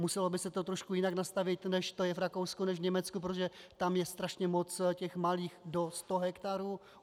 Muselo by se to trošku jinak nastavit, než to je v Rakousku, než v Německu, protože tam je strašně moc těch malých do sta hektarů.